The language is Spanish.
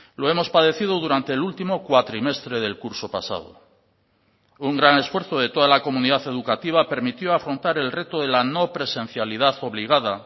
lo hemos padecido durante el último cuatrimestre del curso pasado un gran esfuerzo de toda la comunidad educativa permitió a afrontar el reto de la no presencialidad obligada